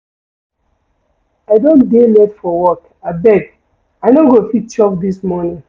I don dey late for work, abeg, I no go fit chop dis morning.